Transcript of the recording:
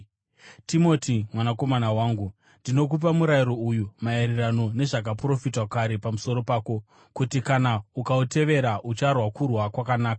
Timoti, mwanakomana wangu, ndinokupa murayiro uyu maererano nezvakaprofitwa kare pamusoro pako, kuti kana ukautevera ucharwa kurwa kwakanaka,